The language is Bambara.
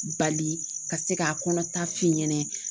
Bali ka se k'a kɔnɔ ta f'i ɲɛna